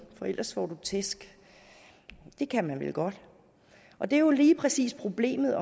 for ellers får du tæsk det kan man vel godt og det er jo lige præcis problemet